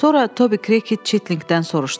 Sonra Tobi Krıket Çitlinqdən soruşdu: